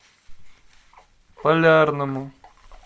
полярному